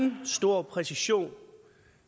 stor præcision